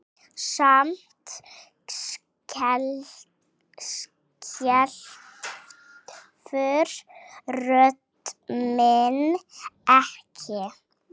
Samt skelfur rödd mín ekki.